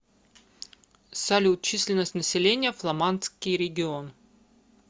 салют численность населения фламандский регион